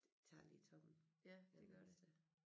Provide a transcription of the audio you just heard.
Det tager lige toppen den onsdag